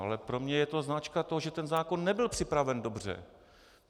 Ale pro mě je to známka toho, že ten zákon nebyl připraven dobře.